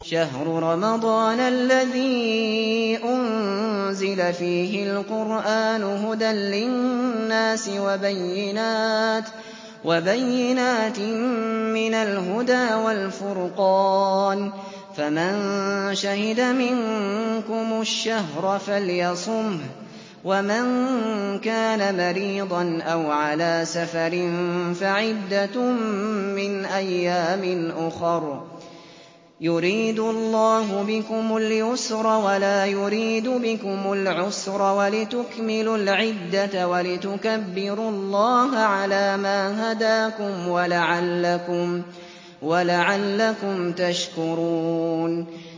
شَهْرُ رَمَضَانَ الَّذِي أُنزِلَ فِيهِ الْقُرْآنُ هُدًى لِّلنَّاسِ وَبَيِّنَاتٍ مِّنَ الْهُدَىٰ وَالْفُرْقَانِ ۚ فَمَن شَهِدَ مِنكُمُ الشَّهْرَ فَلْيَصُمْهُ ۖ وَمَن كَانَ مَرِيضًا أَوْ عَلَىٰ سَفَرٍ فَعِدَّةٌ مِّنْ أَيَّامٍ أُخَرَ ۗ يُرِيدُ اللَّهُ بِكُمُ الْيُسْرَ وَلَا يُرِيدُ بِكُمُ الْعُسْرَ وَلِتُكْمِلُوا الْعِدَّةَ وَلِتُكَبِّرُوا اللَّهَ عَلَىٰ مَا هَدَاكُمْ وَلَعَلَّكُمْ تَشْكُرُونَ